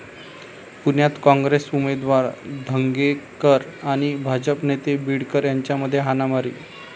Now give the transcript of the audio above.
पुण्यात काँग्रेस उमेदवार धंगेकर आणि भाजप नेते बीडकर यांच्यामध्ये हाणामारी